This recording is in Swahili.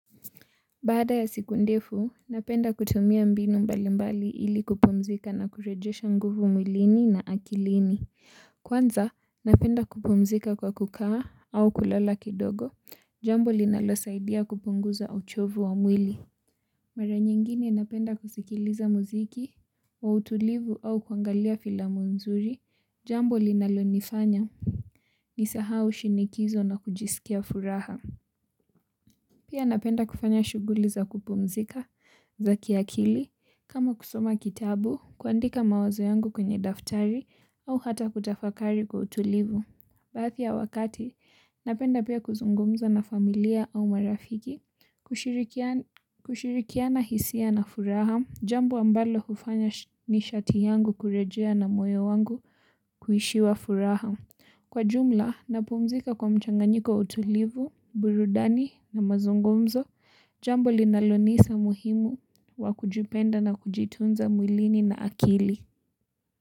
Baada ya siku ndefu, napenda kutumia mbinu mbalimbali ili kupumzika na kurejesha nguvu mwilini na akilini. Kwanza, napenda kupumzika kwa kukaa au kulala kidogo, jambo linalosaidia kupunguza au uchovu wa mwili. Mara nyingine napenda kusikiliza muziki wa utulivu au kuangalia filamu nzuri jambo linalonifanya nisahau shinikizo na kujisikia furaha. Pia napenda kufanya shughuli za kupumzika za kiakili kama kusoma kitabu kuandika mawazo yangu kwenye daftari au hata kutafakari kwa utulivu. Baadhi ya wakati, napenda pia kuzungumza na familia au marafiki, kushirikiana hisia na furaha, jambo ambalo hufanya nishati yangu kurejea na moyo wangu kujaa furaha. Kwa jumla, napumzika kwa mchanganyiko wa utulivu, burudani na mazungumzo, jambo linalonisaidia umuhimu wa kujipenda na kujitunza mwilini na akilini.